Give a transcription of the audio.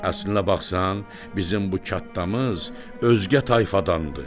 Əslinə baxsan, bizim bu kənddamız özgə tayfadandır.